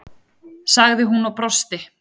sagði hún og brosti.